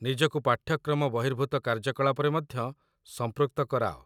ନିଜକୁ ପାଠ୍ୟକ୍ରମ ବହିର୍ଭୂତ କାର୍ଯ୍ୟକଳାପରେ ମଧ୍ୟ ସଂପୃକ୍ତ କରାଅ